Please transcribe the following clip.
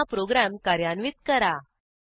पुन्हा प्रोग्रॅम कार्यान्वित करा